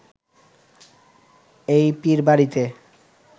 এই পীর বাড়িতে